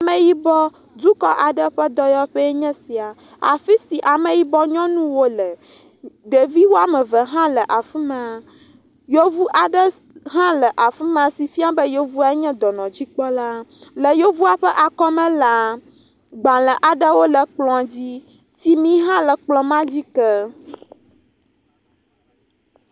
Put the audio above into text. Ameyibɔdukɔ ƒe dɔyɔƒe aɖe nye ya, afisi ame yibɔ nyɔnuwo le, ɖevi woame eve hã le afima, yevu aɖe hã le afima si fia be yevua nye dɔnɔdzikpɔla, yevua ƒe akɔme la, gbalẽ aɖewo le kplɔ dzi, tsimi hã le kplɔ ma dzi ke.